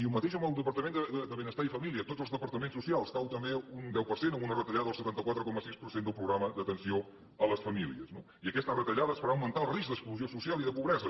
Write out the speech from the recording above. i el mateix amb el departament de benestar i família tots els departaments socials cau també un deu per cent amb una retallada del setanta quatre coma sis per cent del programa d’atenció a les famílies no i aquesta retallada farà augmentar el risc d’exclusió social i de pobresa